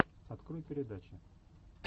открой передачи